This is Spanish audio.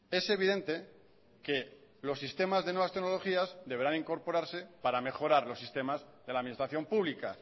es evidente que los sistemas de nuevas tecnologías deberán incorporarse para mejorar los sistemas de la administración pública